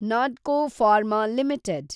Natco pharma limited